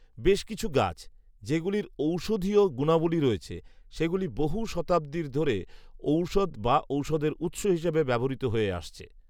বেশ কিছু গাছ, যেগুলির ঔষধিয় গুনাবলি রয়েছে, সেগুলি বহু শতাব্দীর ধরেঔষধ বা ঔষধের উৎস হিসেবে ব্যবহৃত হয়ে আসছে